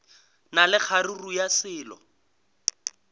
na le kgaruru ya selo